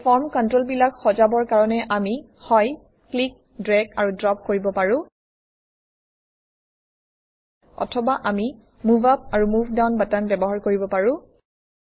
এই ফৰ্ম কণ্ট্ৰলবিলাক সজাবৰ কাৰণে আমি হয় ক্লিক ড্ৰেগ আৰু ড্ৰপ কৰিব পাৰোঁ অথবা আমি মুভ আপ আৰু মুভ ডাউন বাটন ব্যৱহাৰ কৰিব পাৰোঁ